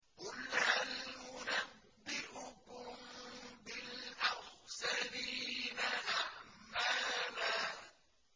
قُلْ هَلْ نُنَبِّئُكُم بِالْأَخْسَرِينَ أَعْمَالًا